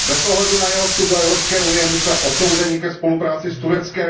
Bez ohledu na jeho vstup do Evropské unie jsme odsouzeni ke spolupráci s Tureckem.